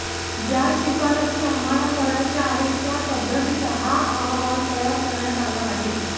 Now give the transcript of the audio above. ज्या शिफारशी आम्हाला करायच्या आहे त्या पध्दतीचा हा अहवाल तयार करण्यात आला आहे